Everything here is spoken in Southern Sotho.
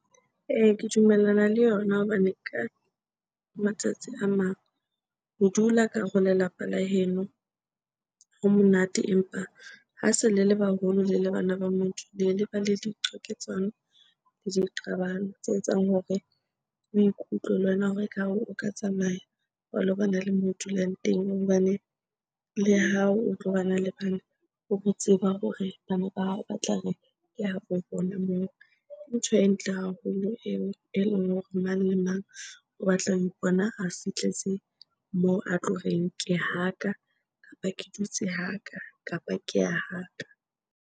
Ee, ke dumellana le yona hobane ka matsatsi a mang ho dula ka hare ho lelapa la heno ho monate. Empa ha se le le baholo, le le bana ba motho. Le ba le diqwaketsano le diqabang tse etsang hore o ikutlwe le wena hore ekare o ka tsamaya wa lo bana le moo o dulang teng. Hobane le ha o tlo bana le bana, o bo tseba hore bana ba hao ba tla re, ke habo bona moo. Ke ntho e ntle haholo eo eleng hore mang le mang o batla ho ipona a fihletse moo a tlo reng, ke haka kapa ke dutse haka, kapa ke ya haka.